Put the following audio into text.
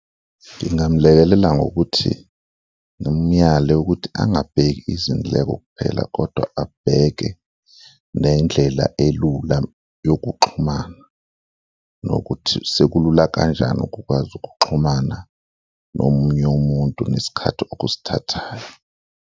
Ngingamlekelela ngokuthi ngimuyale ukuthi angabheki izindleko kuphela kodwa abheke nendlela elula yokuxhumana nokuthi sekulula kanjani ukukwazi ukuxhumana nomunye umuntu nesikhathi okusithathayo.